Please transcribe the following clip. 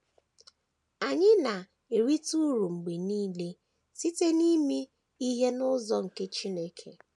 Anyị na - erite uru mgbe nile site n’ime ihe n’ụzọ nke Chineke.